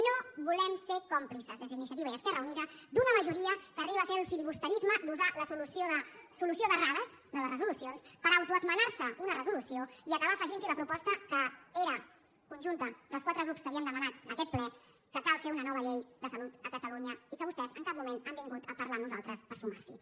no volem ser còmplices des d’iniciativa i esquerra unida d’una majoria que arriba a ser el filibusterisme d’usar la solució d’errades de les resolucions per autoesmenar se una resolució i acabar afegint hi la proposta que era conjunta dels quatre grups que havíem demanat aquest ple que cal fer una nova llei de salut a catalunya i que vostès en cap moment han vingut a parlar amb nosaltres per sumar s’hi